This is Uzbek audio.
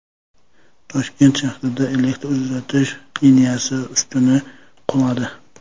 Toshkent shahrida elektr uzatish liniyasi ustuni quladi .